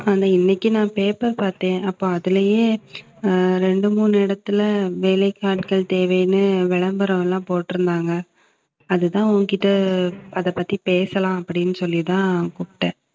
இன்னைக்கு நான் paper பார்த்தேன். அப்ப அதுலயே அஹ் ரெண்டு மூணு இடத்துல வேலைக்கு ஆட்கள் தேவைன்னு விளம்பரம்லாம் போட்டிருந்தாங்க. அதுதான் உன்கிட்ட, அதை பத்தி பேசலாம் அப்படின்னு சொல்லிதான் கூப்பிட்டேன்